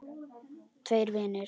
Tveir vinir